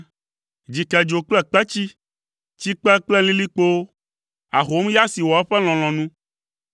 Dzikedzo kple kpetsi, tsikpe kple lilikpowo, ahomya si wɔ eƒe lɔlɔ̃nu,